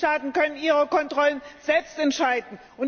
Die Mitgliedstaaten können ihre Kontrollen selbst entscheiden.